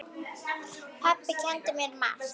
Pabbi kenndi mér margt.